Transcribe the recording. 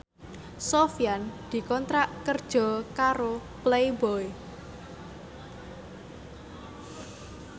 Sofyan dikontrak kerja karo Playboy